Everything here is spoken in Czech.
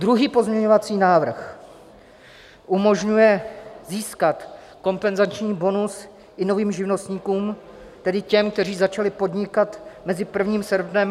Druhý pozměňovací návrh umožňuje získat kompenzační bonus i novým živnostníkům, tedy těm, kteří začali podnikat mezi 1. srpnem a 22. listopadem.